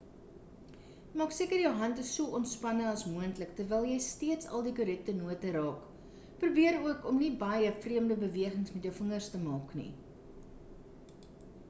maak seker jou hand is so ontspanne as moontlik terwyl jy steeds al die korrekte note raak probeer ook om nie baie vreemde bewegings met jou vingers te maak nie